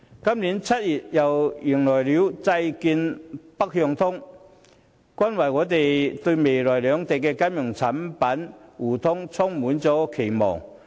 今年7月，香港又迎來債券"北向通"，令我們對兩地未來的金融產品互聯互通充滿期盼。